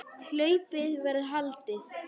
Hlaupið verður haldið.